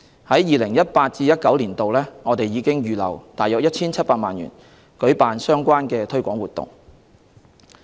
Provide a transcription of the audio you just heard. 在 2018-2019 年度，我們已預留約 1,700 萬元舉辦相關推廣活動。